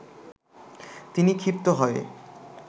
তিনি ক্ষিপ্ত হয়ে